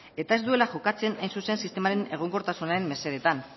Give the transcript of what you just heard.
eta ez duela jokatzen hain zuzen sistemaren egonkortasunaren mesedetan